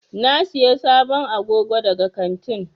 Na Siya sabon agogo daga kantin.